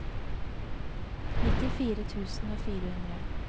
nittifire tusen og fire hundre